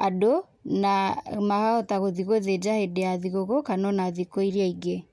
andũ na makahota gũthi gũthĩnja hĩndĩ ya thigũkũ kana ona thikũ iria ingĩ.